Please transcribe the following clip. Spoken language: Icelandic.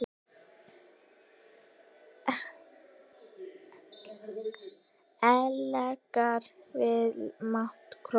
ellegar vilji mata krók.